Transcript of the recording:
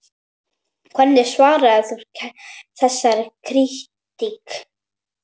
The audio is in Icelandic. Hvernig svarar þú þessari krítík?